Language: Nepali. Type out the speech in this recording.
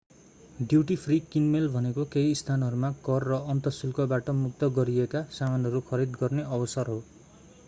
ड्युटी फ्री किनमेल भनेको केही स्थानहरूमा कर र अन्तःशुल्कबाट मुक्त गरिएका सामानहरू खरिद गर्ने अवसर हो